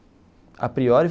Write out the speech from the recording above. A priori.